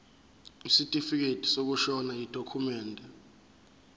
isitifikedi sokushona yidokhumende